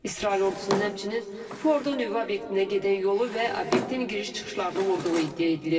İsrail ordusunun həmçinin Fordo nüvə obyektinə gedən yolu və obyektin giriş-çıxışlarını vurduğu iddia edilir.